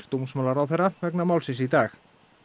dómsmálaráðherra í dag